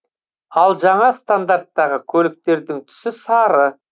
ал жаңа стандарттағы көліктердің түсі сары